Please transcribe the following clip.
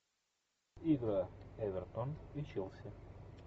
игра эвертон и челси